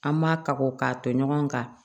An ma ka ko k'a tɔ ɲɔgɔn ka